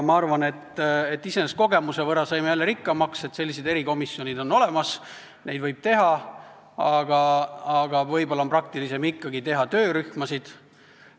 Ma arvan, et iseenesest saime jälle kogemuse võrra rikkamaks, selliseid erikomisjone võib teha, aga võib-olla oleks praktilisem teha ikkagi töörühmasid.